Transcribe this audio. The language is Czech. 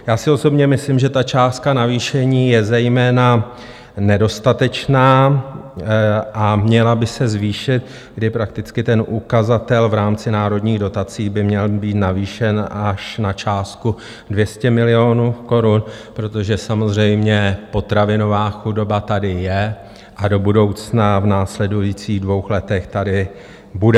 Já si osobně myslím, že ta částka navýšení je zejména nedostatečná a měla by se zvýšit, kdy prakticky ten ukazatel v rámci Národních dotací by měl být navýšen až na částku 200 milionů korun, protože samozřejmě potravinová chudoba tady je a do budoucna v následujících dvou letech tady bude.